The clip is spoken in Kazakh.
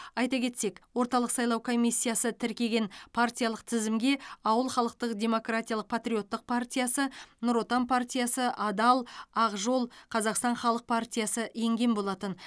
айта кетсек орталық сайлау комиссиясы тіркеген партиялық тізімге ауыл халықтық демократиялық патриоттық партиясы нұр отан партиясы адал ақ жол қазақстан халық партиясы енген болатын